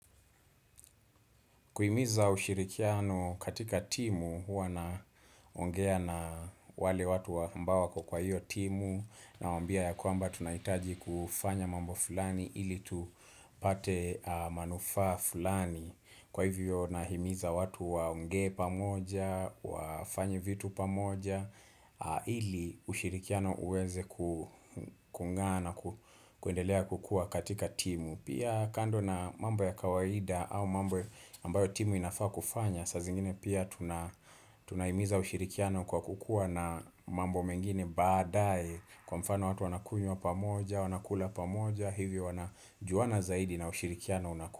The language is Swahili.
Kuhimiza ushirikiano katika timu, huwa naongea na wale watu wa ambao wako kwa kwa hiyo timu Nawambia ya kwamba tunahitaji kufanya mambo fulani ili tu pate manufaa fulani Kwa hivyo nahimiza watu waonge pamoja, wafanyie vitu pa moja ili ushirikiano uweze kulingana kuendelea kukua katika timu Pia kando na mambo ya kawaida au mambo ambayo timu inafaa kufanya saa zingine pia tunaimiza ushirikiano kwa kukuwa na mambo mengine baadae Kwa mfano watu wanakunywa pa moja, wanakula pa moja, hivyo wanajuwana zaidi na ushirikiano unakuwa.